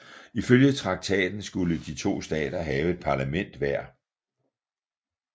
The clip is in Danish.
Ifølge traktaten skulle de to stater have et parlament hver